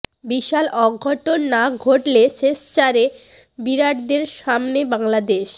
বিশাল অঘটন না ঘটলে শেষ চারে বিরাটদের সামনে বাংলাদেশ